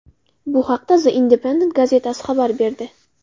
Bu haqda The Independent gazetasi xabar berdi .